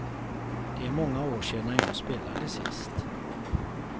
Det är många år sedan jag spelade sist.